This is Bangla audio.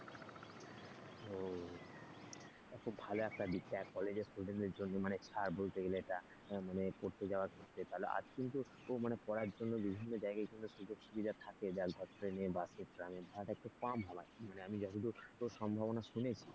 এটা খুব ভালো একটা দিক দেখ college এর student দের জন্য মানে ছাড় বলতে গেলে এটা মানে পড়তে যাওয়ার পক্ষে আজকেও কিন্তু পড়ার জন্য বিভিন্ন জায়গায় কিন্তু সুযোগ সুবিধা থাকে দেখ বাসে ট্রামে ধর অনেক টা কম ভাড়া মানে আমি যতদূর সম্ভবনা শুনেছি।